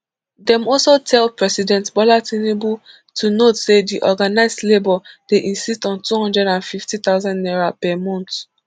dem also tell president bola tinubu to note say di organised labour dey insist on two hundred and fifty thousand naira per month